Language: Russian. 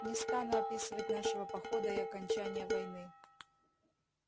не стану описывать нашего похода и окончания войны